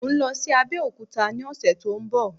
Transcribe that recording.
Mò ń lọ sí Abẹ́òkúta ni ọ̀sẹ̀ tó ń bọ̀